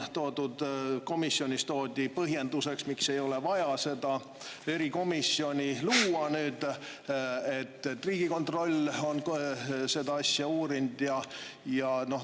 Teiseks, komisjonis toodi põhjenduseks, miks ei ole vaja seda erikomisjoni luua, see, et Riigikontroll on seda asja uurinud.